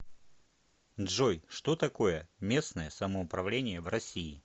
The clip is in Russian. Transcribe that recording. джой что такое местное самоуправление в россии